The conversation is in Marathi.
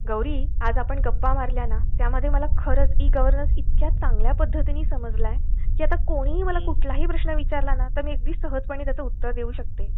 गौरी, आज आपण गप्पा मारल्या ना त्यामुळे खरच मला ई गव्हर्नन्स इतक्या चांगल्या पद्धद्धतीने समजले की आता कोणीही मला कुठलाही प्रश्न विचारला ना तर मी अगदी सहजपणे उत्तर देऊ शकेन.